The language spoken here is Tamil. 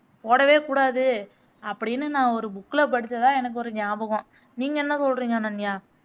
போடவேக்கூடாது அப்படின்னு நா ஒரு book ல படிச்சதா எனக்கு ஒரு நியாபகம் நீங்க என்ன சொல்றிங்க அனன்யா